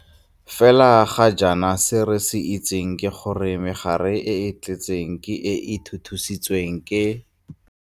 Fela ga jana se re se itseng ke gore megare e e tletseng ke e e thuthusitsweng ke.